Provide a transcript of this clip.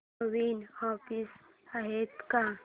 नवीन offers आहेत का